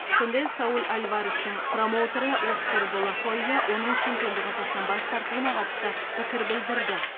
сондай ақ сауль альварестің промоутері оскар де ла хойя оның чемпиондық атақтан бас тартуына қатысты пікір білдірді